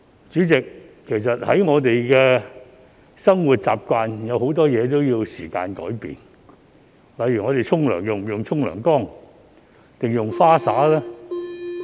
主席，其實在我們的生活習慣中，很多事情也需要時間改變，例如我們洗澡時使用浴缸還是花灑？